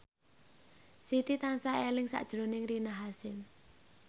Siti tansah eling sakjroning Rina Hasyim